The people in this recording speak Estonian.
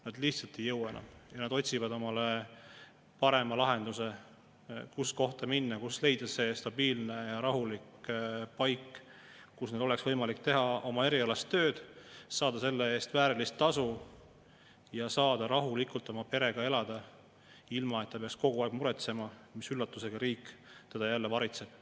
Nad lihtsalt ei jõua enam ja nad otsivad paremat lahendust, kohta, kuhu minna, stabiilset ja rahulikku paika, kus neil oleks võimalik teha oma erialast tööd, saada selle eest väärilist tasu ja elada oma perega rahulikult, ilma et peaks kogu aeg muretsema, mis üllatusega riik neid jälle varitseb.